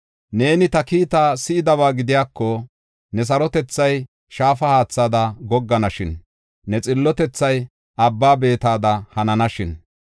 Neeni ta kiitaa si7idaba gidiyako, ne sarotethay shaafa haathada gogganashin; ne xillotethay abba beetada hananashin.